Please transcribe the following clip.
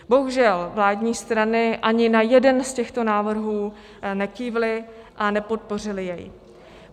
Bohužel vládní strany ani na jeden z těchto návrhů nekývly a nepodpořily jej.